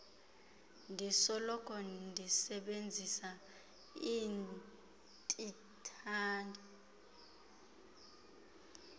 ndisoloko ndisebenzisa iintsilathi